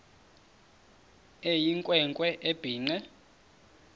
eyinkwe nkwe ebhinqe